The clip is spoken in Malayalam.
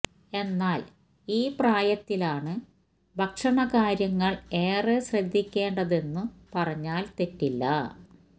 എന്നാല് ഈ പ്രായത്തിലാണ് ഭക്ഷണ കാര്യങ്ങള് ഏറെ ശ്രദ്ധിയ്ക്കേണ്ടതെന്നു പറഞ്ഞാല് തെറ്റില്ല